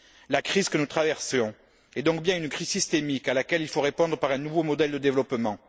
La crise que nous traversons est donc bien une crise systémique, à laquelle il faut répondre par un nouveau modèle de développement.